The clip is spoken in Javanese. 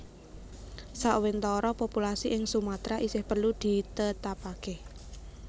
Sawentara populasi ing Sumatra isih perlu ditetapake